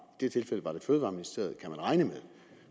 fødevareministeriet